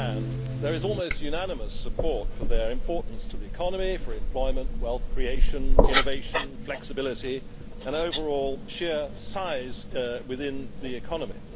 the one hand, there is almost unanimous support for their importance to the economy, to employment, wealth creation, innovation and flexibility, and their overall sheer size within the economy.